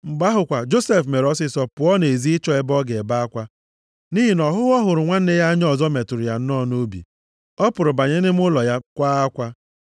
Mgbe ahụ kwa Josef mere ọsịịsọ pụọ nʼezi ịchọ ebe ọ ga-akwa akwa nʼihi na ọhụhụ ọ hụrụ nwanne ya anya ọzọ metụrụ ya nnọọ nʼobi. Ọ pụrụ banye nʼime ụlọ ya kwaa akwa.